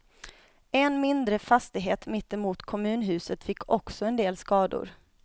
En mindre fastighet mitt emot kommunhuset fick också en del skador.